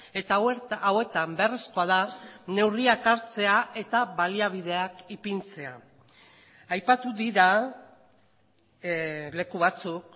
eta hauetan beharrezkoa da neurriak hartzea eta baliabideak ipintzea aipatu dira leku batzuk